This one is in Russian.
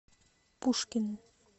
пушкин